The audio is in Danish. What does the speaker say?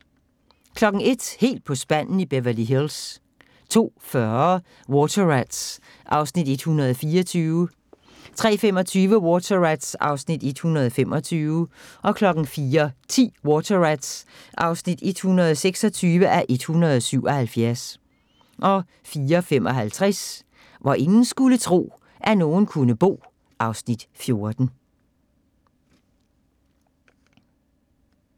01:00: Helt på spanden i Beverly Hills 02:40: Water Rats (124:177) 03:25: Water Rats (125:177) 04:10: Water Rats (126:177) 04:55: Hvor ingen skulle tro, at nogen kunne bo (Afs. 14)